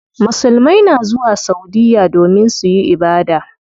Musulmai na zuwa saudiya domin suyi ibada.